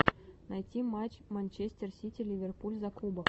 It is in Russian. найти матч манчестер сити ливерпуль за кубок